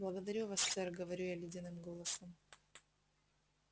благодарю вас сэр говорю я ледяным голосом